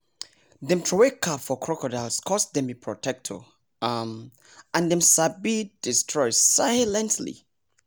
dem throway cap for crocodiles coz dem be protector um and dem sabi destroy silently